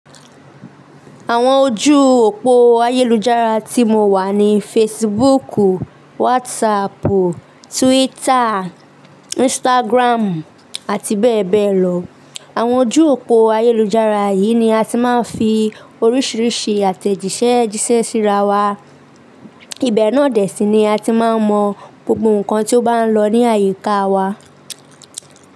Àwọn ojú òpó ayélujára tí mo wà ni Facebook, WhatsApp, Twitter, Instagram àti bẹ́ẹ̀ bẹ́ẹ̀ lọ. Àwọn ojú òpó ayélujára yìí ni a ti máa ń fi oríṣiríṣi àtẹ̀jíṣẹ́ jíṣẹ́ síra wa. Ibẹ̀ náà dẹ̀ sí ni a ti máa ń mọ gbogbo nkan tí ó bá ń lọ ní àyíká wa.